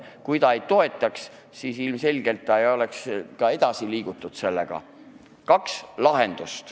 Kui valitsus ei toetaks, siis ilmselgelt ei oleks sellega ka edasi liigutud.